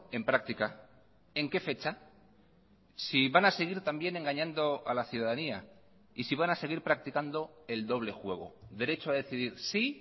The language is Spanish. en práctica en qué fecha si van a seguir también engañando a la ciudadanía y si van a seguir practicando el doble juego derecho a decidir sí